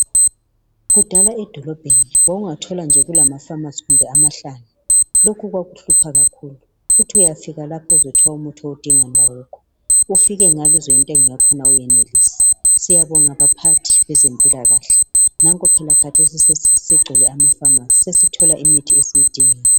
Kudala edolobheni wawungathola nje kulama pharmacy kumbe amahlanu .Lokhu kwakuhlupha kakhulu . Uthi uyafika lapha uzwe kuthiwa umuthi owudingayo awukho ufike ngale uzwe intengo yakhona awuyenelisi .Siyabonga baphathi bezempilakahle nanko phela khathesi segcwele amapharmacy sesithola imithi esiyidingayo.